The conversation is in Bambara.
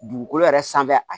Dugukolo yɛrɛ sanfɛ a